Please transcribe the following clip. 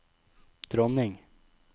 dronning